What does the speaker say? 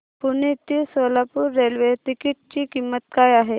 पुणे ते Solapur railway ticket ची किंमत काय आहे